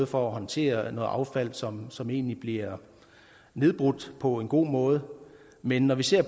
for at håndtere noget affald som som egentlig bliver nedbrudt på en god måde men når vi ser